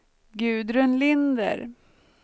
Gudrun Linder